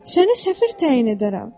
Səni səfir təyin edərəm!